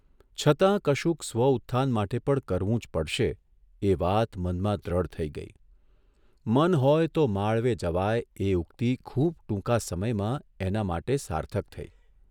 છતાં કશુંક સ્વ ઉત્થાન માટે પણ કરવું જ પડશે એ વાત મનમાં દ્રઢ થઇ ગઇ ' મન હોય તો માળવે જવાય 'એ ઉક્તિ ખૂબ ટૂંકા સમયમાં એના માટે સાર્થક થઇ !